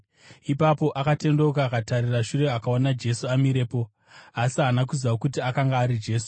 Ipapo akatendeuka akatarira shure akaona Jesu amirepo, asi haana kuziva kuti akanga ari Jesu.